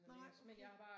Nej okay